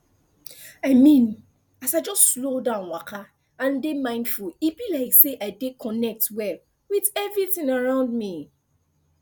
i mean as i just slow down waka and dey mindful e be like say i dey connect well with everything around me